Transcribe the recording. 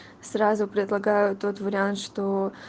сразу предлагают тот вариант что